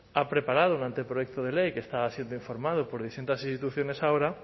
ha preparado un anteproyecto de ley que está siendo informado por distintas instituciones ahora